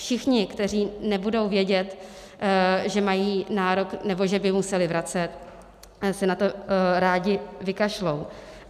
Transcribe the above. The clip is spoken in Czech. Všichni, kteří nebudou vědět, že mají nárok, nebo že by museli vracet, se na to rádi vykašlou.